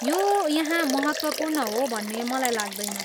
यो यहाँ महत्त्वपूर्ण हो भन्ने मलाई लाग्दैन।